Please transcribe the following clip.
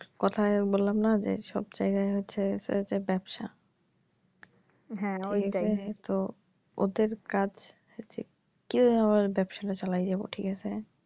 কথায় বললাম না যে সব জায়গায় হচ্ছে যে ব্যাবসা। এটাই তো ওদের কাজ হচ্ছে কীভাবে ব্যাবসাটা চালায় যাবো ঠিক আছে?